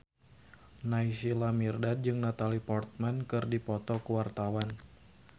Naysila Mirdad jeung Natalie Portman keur dipoto ku wartawan